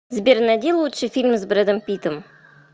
сбер найди лучший фильм с брэдом питтом